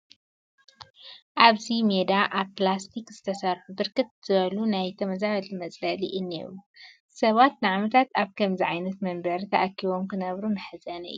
ኣብዚ ሜዳ ካብ ፕላስቲክ ዝተሰርሑ ብርክት ዝበሉ ናይ ተመዛበልቲ መፅለሊ እኔዉ፡፡ ሰባት ንዓመታት ኣብ ከምዚ ዓይነት መንበሪ ተኣኪቦም ክነብሩ መሕዘኒ እዩ፡፡